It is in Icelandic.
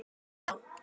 Sjáumst þá.